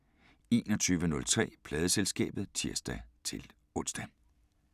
21:03: Pladeselskabet (tir-ons)